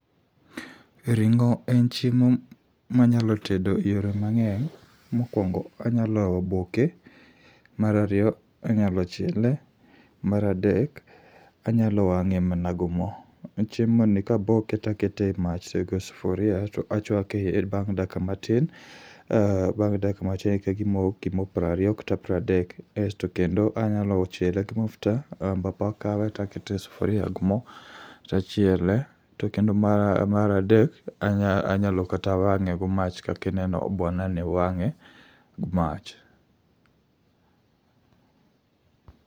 Ring'o en chiemo manyalo tedo e yore mang'eny, mokwongo anyalo boke. Marariyo anyalo chiele, maradek anyalo wang'e mana gu mo. Chiemo ni kaboke takete e mach e sufuria to achwake bang' dakika matin, bang' dakika matin ka gimo, gimo prariyo kata pradek. Asto kendo anyalo chielo gi mafuta, ambapo akawe takete e sufuria gi mo tachiele. To kendo maradek, anyalo kata wang'e gi mach kakineno bwana ni wang'e gi mach.